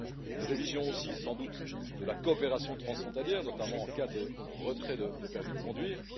une révision aussi, sans doute, de la coopération transfrontalière, notamment en cas de retrait de permis de conduire